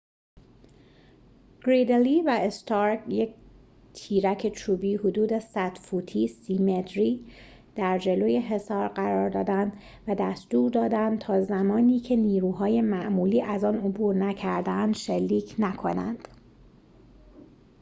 «گریدلی»‌ و «استارک» یک تیرک چوبی حدود 100 فوتی 30 متری در جلوی حصار قرار دادند و دستور دادند تا زمانی که نیروهای معمولی از آن عبور نکرده‌اند شلیک نکنند